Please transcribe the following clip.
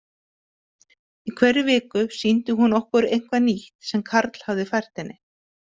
Í hverri viku sýndi hún okkur eitthvað nýtt sem Karl hafði fært henni.